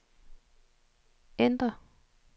ændr